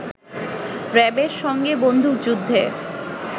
র‌্যাবের সঙ্গে বন্দুকযুদ্ধে